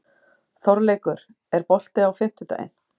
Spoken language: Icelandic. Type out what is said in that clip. Þorleikur, er bolti á fimmtudaginn?